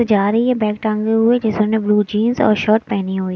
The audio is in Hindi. जा रही है बैग टंगे हुए जिसने ब्लू जींस और शर्ट पहनी हुई--